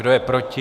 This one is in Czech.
Kdo je proti?